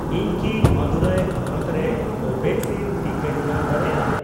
ᱤᱧ ᱠᱤ ᱢᱟᱹᱫᱩᱨᱟᱭ ᱦᱚᱱᱚᱛ ᱨᱮ ᱠᱳᱵᱷᱮᱠᱥᱤᱱ ᱴᱤᱠᱟᱹᱧ ᱧᱟᱢ ᱫᱟᱲᱮᱭᱟᱜᱼᱟ ᱾